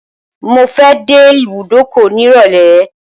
Mo fẹ́ dé ibùdókọ̀ nírọ̀lẹ́.